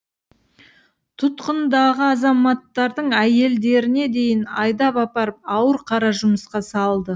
тұтқындағы азаматтардың әйелдеріне дейін айдап апарып ауыр қара жұмысқа салды